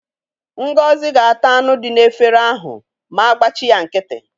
Ngozi ga-ata anụ dị n'efere ahụ ma a gbachi ya nkịtị.